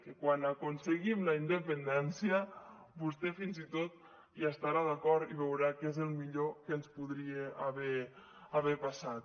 que quan aconseguim la independència vostè fins i tot hi estarà d’acord i veurà que és el millor que ens podria haver passat